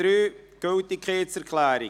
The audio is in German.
Angenommen Ziff.